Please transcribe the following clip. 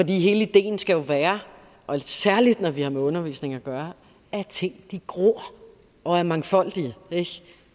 hele ideen skal jo være og særlig når vi har med undervisning at gøre at ting gror og er mangfoldige